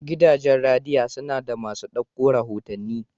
Gidajen radiya suna da maso dauko rahotanni.